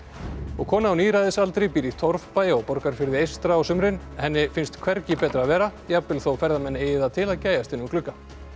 kona á níræðisaldri býr í torfbæ á Borgarfirði eystra á sumrin henni finnst hvergi betra að vera jafnvel þó ferðamenn eigi það til að gægjast inn um glugga